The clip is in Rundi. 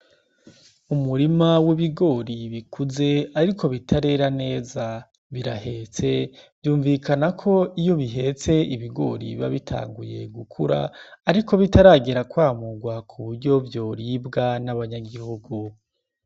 Umurima w'ibigori bikuze ariko bitarera neza birahetse vyumvikana ko iyo bihetse ibigori biba bitanguye gukura ariko bitaragera kwamugwa kuburyo vyoribwa n' abanyagihugu.